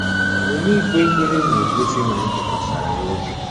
Omume ikpe ekpere na-egosi na anyị tụkwasịrị ya obi.